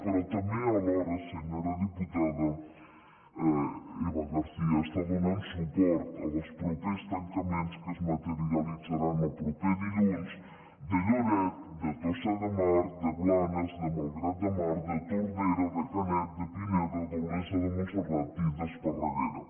però també alhora senyora diputada eva garcía està donant suport als propers tancaments que es materialitzaran el proper dilluns de lloret de tossa de mar de blanes de malgrat de mar de tordera de canet de pineda d’olesa de montserrat i d’esparraguera